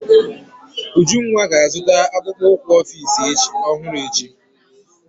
Ujunwa ga-azụta akpụkpọ ụkwụ Ọfịs ọhụrụ echi.